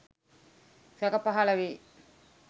සැක පහල වේ.